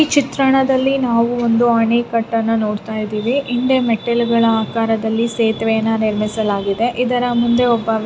ಈ ಚಿತ್ರಣದಲ್ಲಿ ನಾವುಒಂದು ಅಣೆಕಟ್ಟನ್ನ ನೋಡತಾ ಇದ್ದಿವಿ ಇಲ್ಲೇ ಮೆಟ್ಟಲಾಗಳ ಆಕಾರದಲ್ಲಿ ಸೇಥಿವೇಯನ್ನ ನಿರ್ಮಿಸಲಾಗಿದೆ ಇದರ ಮುಂದೆ ಒಬ್ಬ ವ್ಯಕ್--